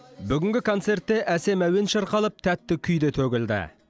бүгінгі концертте әсем әуен шырқалып тәтті күй де төгілді